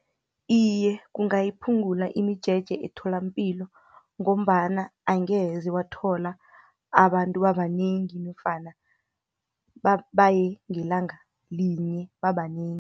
Iye, kungayiphungula imijeje etholampilo ngombana angeze wathola abantu babanengi, nofana baye ngelanga linye babanengi.